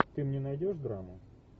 ты мне найдешь драму